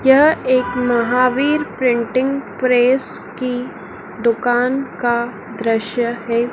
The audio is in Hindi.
यह एक महावीर प्रिंटिंग प्रेस की दुकान का दृश्य है।